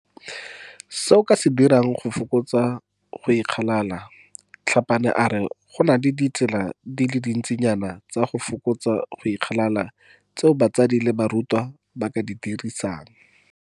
Se o ka se dirang go fokotsa go ikgalala Tlhapane a re go na le ditsela di le dintsinyana tsa go fokotsa go ikgalala tseo batsadi le barutwana ba ka di dirisang.